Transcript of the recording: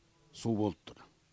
су болып тұр